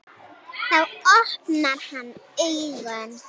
Þá opnar hann augun.